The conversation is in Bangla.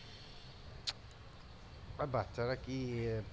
আর বাচ্চারা কি